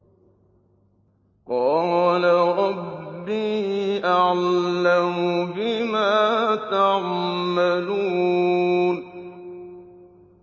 قَالَ رَبِّي أَعْلَمُ بِمَا تَعْمَلُونَ